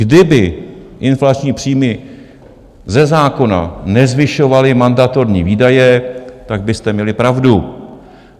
Kdyby inflační příjmy ze zákona nezvyšovaly mandatorní výdaje, tak byste měli pravdu.